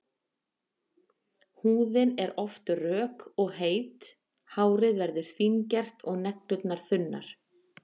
Húðin er oft rök og heit, hárið verður fíngert og neglur þunnar.